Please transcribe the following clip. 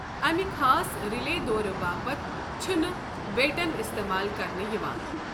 امہِ خاص رِلے دورِ باپتھ چھنہٕ بیٹن استمال كرننہٕ یوان ۔